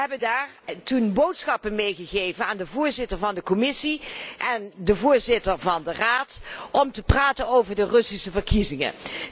We hebben toen boodschappen meegegeven aan de voorzitter van de Commissie en de voorzitter van de Raad om te praten over de Russische verkiezingen.